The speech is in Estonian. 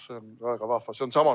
Väga vahva!